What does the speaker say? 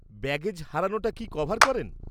Baggage হারানোটা কি cover করেন?